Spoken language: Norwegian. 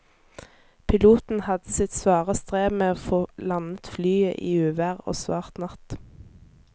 Piloten hadde sitt svare strev med å få landet flyet i uvær og svart natt.